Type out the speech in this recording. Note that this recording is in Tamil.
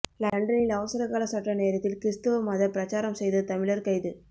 லண்டனில் அவசரகால சட்ட நேரத்தில் கிறிஸ்தவ மதப் பிரசாரம் செய்த தழிழர் கைது